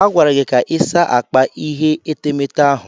A gwara gị ka ịsa akpa ihe etemeete ahụ.